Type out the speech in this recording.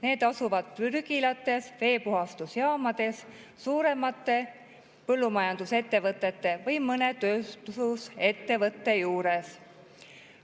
Need asuvad prügilates, veepuhastusjaamades, suuremate põllumajandusettevõtete või mõne tööstusettevõtte juures.